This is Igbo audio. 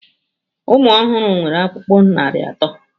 Ụmụ ọhụrụ nwere ọkpụkpụ narị atọ.